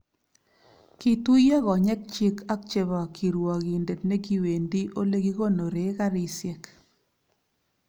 Kituiyo konyekchi ak chebo kirwogindet ne kiwendi Ole kikonore garisiek